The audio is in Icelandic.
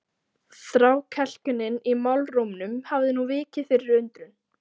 Þrákelknin í málrómnum hafði nú vikið fyrir undrun.